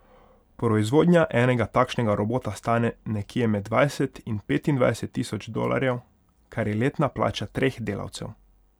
Proizvodnja enega takšnega robota stane nekje med dvajset in petindvajset tisoč dolarjev, kar je letna plača treh delavcev.